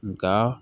Nga